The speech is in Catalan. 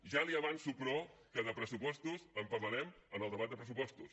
ja li avanço però que de pressupostos en parlarem en el debat de pressupostos